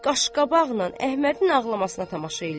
Qaş-qabaqla Əhmədin ağlamasına tamaşa eləyir.